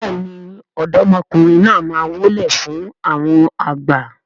béèni ọ̀dọ́mọkùnrin náà má wólẹ̀ fún àwọn àgbà.